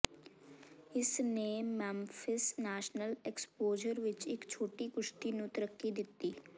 ਇਸਨੇ Memphis national exposure ਵਿਚ ਇਕ ਛੋਟੀ ਕੁਸ਼ਤੀ ਨੂੰ ਤਰੱਕੀ ਦਿੱਤੀ